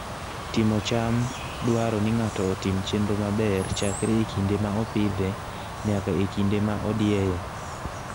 Timo cham dwaro ni ng'ato otim chenro maber chakre e kinde ma opidhe nyaka e kinde ma odieye.